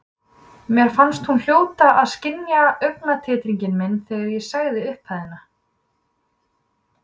Mér fannst hún hljóta að skynja taugatitring minn þegar ég sagði upphæðina.